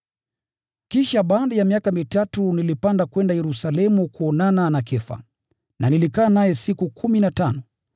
Kisha baada ya miaka mitatu nilipanda kwenda Yerusalemu kuonana na Kefa na nilikaa naye siku kumi na tano.